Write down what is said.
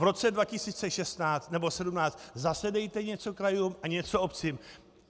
V roce 2016 nebo 2017 zase dejte něco krajům a něco obcím.